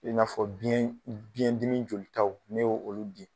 I n'a fɔ biyɛn biyɛndimi jolitaw ne ye olu di.